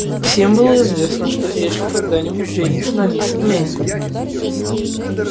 всем было известно что эшли когда-нибудь женится на мисс мелли